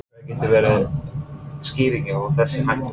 En hver getur verið skýringin á þessari hækkun?